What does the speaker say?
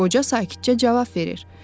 Qoca sakitcə cavab verir: